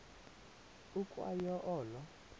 ukwa yo olo